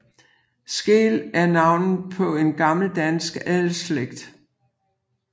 Skeel er navnet på en gammel dansk adelsslægt